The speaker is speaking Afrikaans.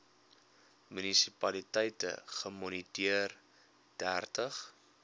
munisipaliteite gemoniteer dertig